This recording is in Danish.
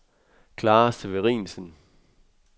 Clara Severinsen